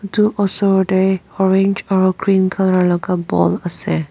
etu osor te orange aru green colour laga ball ase.